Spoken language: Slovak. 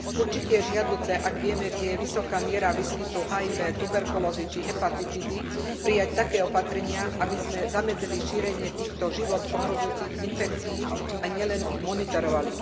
Určite je žiadúce, ak vieme, kde je vysoká miera výskytu HIV, tuberkulózy, či hepatitídy, prijať také opatrenia, aby sme zamedzili šíreniu týchto život ohrozujúcich infekcií a nielen ich monitorovali.